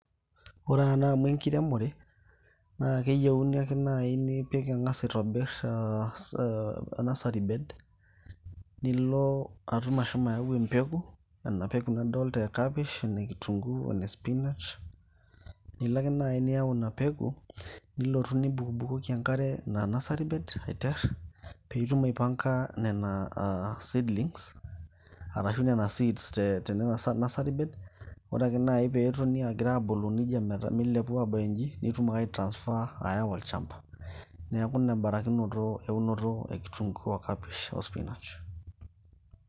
Ore naa amu enkiremore, naa keyiuni ake naai nipik ang'as aitobir eeh eeh nursary bed nilo atum ashomu ayau empeku, ena peku nadoolta e kapish ene kintunguu, one [csspinach, nilo ake naai niyau ina peku nilotu nibukubukoki enkare ina nursary bed aiter piitum aipanga nena seedlings arashu nena seeds te tenena nursary beds ore ake naai peetoni agira abulu neijia meta meilepu abayu in'ji nitum ake ai transfer aawa olchamba. Neeku ina em'barakinoto eunoto e kitunguu, o kapish o spinash.